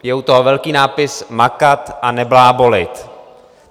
Je u toho velký nápis: Makat a neblábolit.